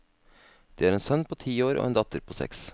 De har en sønn på ti år og en datter på seks.